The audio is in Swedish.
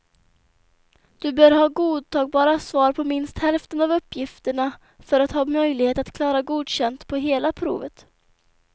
Du bör ha godtagbara svar på minst hälften av uppgifterna för att ha möjlighet att klara godkänd på hela provet.